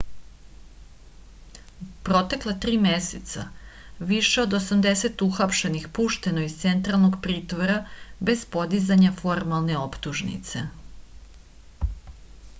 u protekla 3 meseca više od 80 uhapšenih pušteno je iz centralnog pritvora bez podizanja formalne optužnice